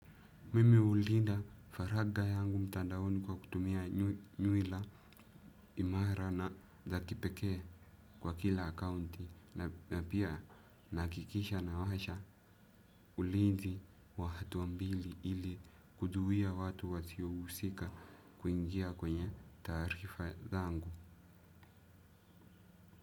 Mimi hulinda faraga yangu mtandaoni kwa kutumia nywila imara na la kipekee kwa kila akaunti na pia nahakikisha nawasha ulinzi wa hatua mbili ili kuzuia watu wasio husika kuingia kwenye taarifa zangu.